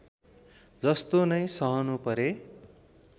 जस्तो नै सहनु परे